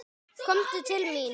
Komdu til mín!